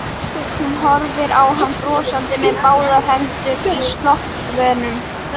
Hún horfir á hann brosandi með báðar hendur í sloppvösunum.